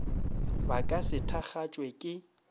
ba ka se thakgatšwe ke